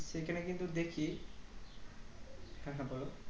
সেখানে কিন্তু দেখি হ্যাঁ হ্যাঁ বলো